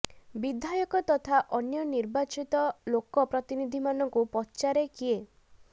ବିଧାୟକ ତଥା ଅନ୍ୟ ନିର୍ବାଚିତ ଲୋକ ପ୍ରତିନିଧିମାନଙ୍କୁ ପଚାରେ କିଏ